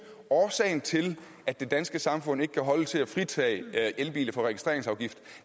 at årsagen til at det danske samfund ikke kan holde til at fritage elbiler for registreringsafgift